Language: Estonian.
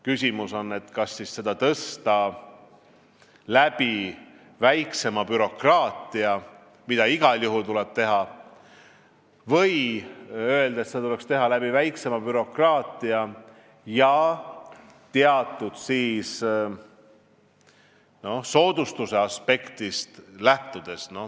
Küsimus on, kas seda tuleks tõsta, vähendades bürokraatiat , või tuleks seda teha, lähtudes väiksemast bürokraatiast ja teatud soodustuse aspektist.